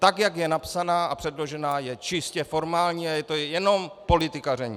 Tak jak je napsaná a předložená, je čistě formální a je to jenom politikaření.